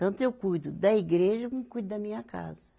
Tanto eu cuido da igreja como cuido da minha casa.